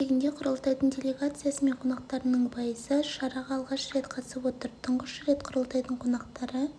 өз кезегінде құрылтайдың делегациясы мен қонақтарының пайызы шараға алғаш рет қатысып отыр тұңғыш рет құрылтайдың қонақтары